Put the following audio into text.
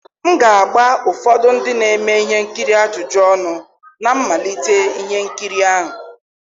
m ga-agba ụfọdụ ndị na-eme ihe nkiri ajụjụ ọnụ na mmalite ihe nkiri ahụ